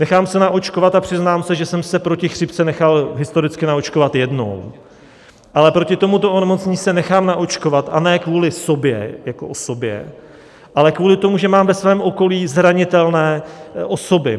nechám se naočkovat a přiznám se, že jsem se proti chřipce nechal historicky naočkovat jednou, ale proti tomuto onemocnění se nechám naočkovat, a ne kvůli sobě jako osobě, ale kvůli tomu, že mám ve svém okolí zranitelné osoby.